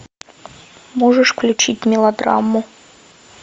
можешь включить мелодраму